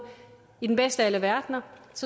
i den bedste af alle verdener